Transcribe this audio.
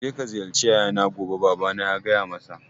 Je ka ziyarci yayana gobe, babana ya gaya masa